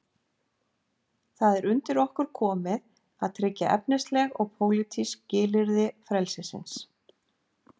Það er undir okkur komið að tryggja efnisleg og pólitísk skilyrði frelsisins.